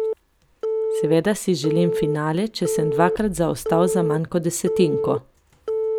Seveda si želim finale, če sem dvakrat zaostal za manj kot desetinko ...